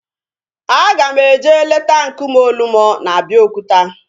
Anyị ga-eje leta nkume Olumo na Abeokuta